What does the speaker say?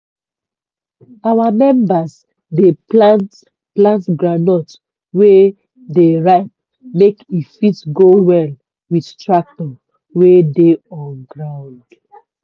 our members dey plant plant groundnut wey dey ripe make e fit go well with tractor wey dey on ground.